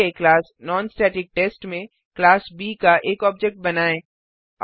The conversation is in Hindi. बनाए गए क्लास नॉनस्टेटिकटेस्ट में क्लास ब का एक ऑब्जेक्ट बनाएँ